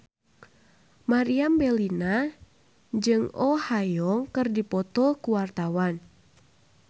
Meriam Bellina jeung Oh Ha Young keur dipoto ku wartawan